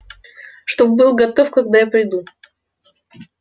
чтобы был готов когда я приду